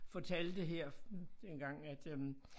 Fortalte her engang at øh